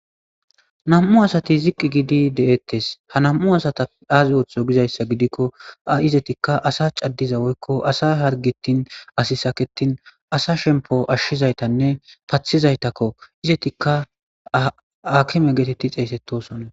Nam'u asati ziqi gidi de'etees. Ha nam'u asata aazi othiwo giikko izatikka asa cadiza woykko asa hargetin asi saketin asa shemppo ashizaytanne pathizaytakko. izatikka aakime geeteti xeesetosona.